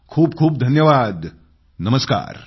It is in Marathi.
खूपखूप धन्यवाद नमस्कार